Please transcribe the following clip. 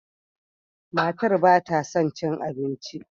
Matar ba ta son cin abinci.